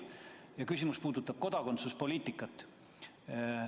Mu küsimus puudutab kodakondsuspoliitikat.